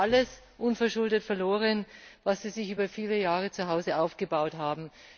Sie haben alles unverschuldet verloren, was sie sich über viele Jahre zuhause aufgebaut haben.